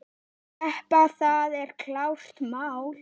Keppa, það er klárt mál.